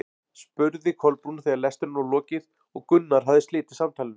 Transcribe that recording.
spurði Kolbrún þegar lestrinum var lokið og Gunnar hafði slitið samtalinu.